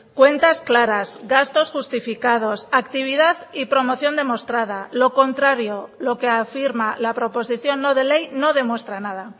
cuentas claras gastos justificados actividad y promoción demostrada lo contrario lo que afirma la proposición no de ley no demuestra nada